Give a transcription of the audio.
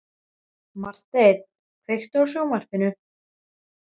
Marteinn, kveiktu á sjónvarpinu.